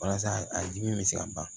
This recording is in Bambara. Walasa a dimi bɛ se ka ban